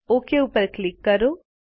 okay ઉપર click કરો